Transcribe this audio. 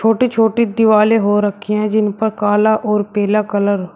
छोटी छोटी दिवाले हो रखी है जिन पर काला और पीला कलर --